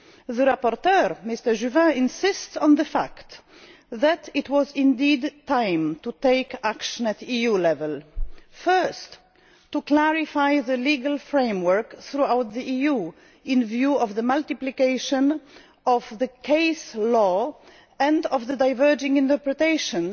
The rapporteur, Mr Juvin, insists on the fact that it was indeed time to take action at EU level firstly, to clarify the legal framework throughout the EU in view of the multiplication of case law and of the diverging interpretations